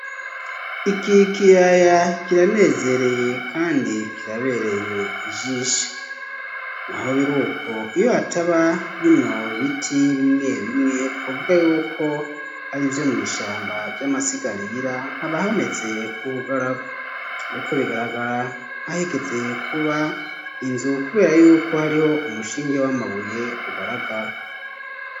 Iki kiyaya kiranezereye, kandi kirabereye ijisho na ho biri uko iyo hataba binobe biti bimwe bimwe twuvwa yuko ari ivyo mw'ishamba vy'amasigarira habahameze nk'ubugaragwa, ariko bigaragara nkahigeze kuba inzu, kubera yuko hariho umushinge w'amabuye ugaragara.